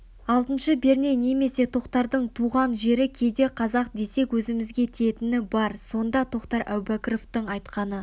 алтыншы перне немесе тоқтардың туған жері кейде қазақ десек өзімізге тиетіні бар сонда тоқтар әубәкіровтің айтқаны